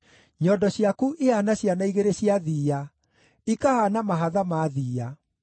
Nyondo ciaku ihaana ciana igĩrĩ cia thiiya, ikahaana mahatha ma thiiya.